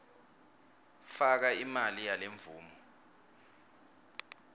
faka imali yalemvumo